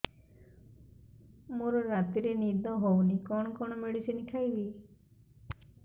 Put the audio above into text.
ମୋର ରାତିରେ ନିଦ ହଉନି କଣ କଣ ମେଡିସିନ ଖାଇବି